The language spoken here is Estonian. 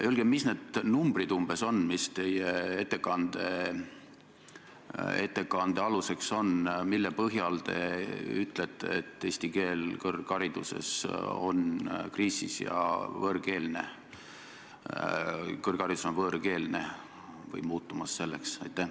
Öelge, mis numbrid umbes teie ettekande aluseks on, kui te ütlete, et eesti keel kõrghariduses on kriisis ja kõrgharidus on võõrkeelne või muutumas selleks?